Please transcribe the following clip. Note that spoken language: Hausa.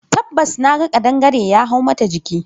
Tabbas naga kadangare ya hau mata jiki.